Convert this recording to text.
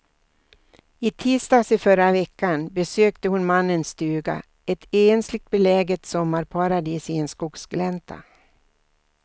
I tisdags i förra veckan besökte hon mannens stuga, ett ensligt beläget sommarparadis i en skogsglänta.